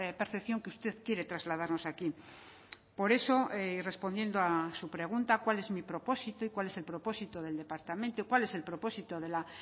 percepción que usted quiere trasladarnos aquí por eso respondiendo a su pregunta cuál es mi propósito y cuál es el propósito del departamento cuál es el propósito de la